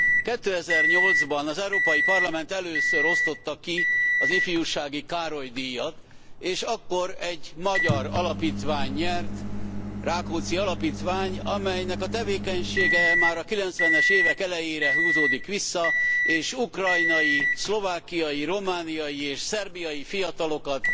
2008 ban az Európai Parlament először osztotta ki az Ifjúsági Károly díjat, és akkor egy magyar alapítvány nyert, a Rákóczi Alapítvány, amelynek a tevékenysége már a 90 es évek elejére húzódik vissza, és ukrajnai, szlovákiai, romániai és szerbiai fiatalokat